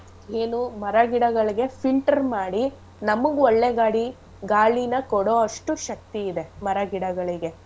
ಏನೂ ಮರ ಗಿಡಗಳ್ಗೆ filter ಮಾಡಿ ನಮ್ಗ್ ಒಳ್ಳೆ ಗಾಡಿ ಗಾಳಿನ ಕೊಡೋ ಅಷ್ಟು ಶಕ್ತಿ ಇದೆ ಮರಗಿಡಗಳಿಗೆ.